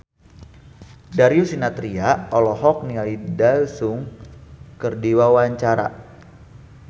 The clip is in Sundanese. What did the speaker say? Darius Sinathrya olohok ningali Daesung keur diwawancara